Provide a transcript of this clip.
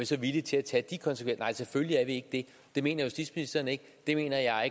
så villige til at tage de konsekvenser nej selvfølgelig er vi ikke det det mener justitsministeren ikke det mener jeg